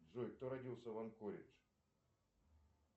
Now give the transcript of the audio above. джой кто родился в анкоридж